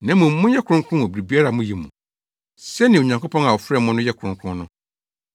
Na mmom monyɛ kronkron wɔ biribiara a moyɛ mu, sɛnea Onyankopɔn a ɔfrɛɛ mo no yɛ kronkron no.